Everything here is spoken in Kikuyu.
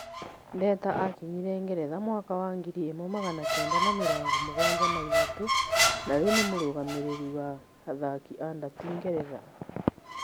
Ndeta akinyire Ngeretha mwaka wa ngiri ĩmwe magana kenda na mĩrongo mũgwanja na ithatũ na rĩũ nĩ mũrũgamĩrĩri wa athaki a ndati Ngeretha.